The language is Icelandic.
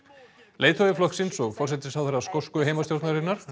leiðtogi flokksins og forsætisráðherra skosku heimastjórnarinnar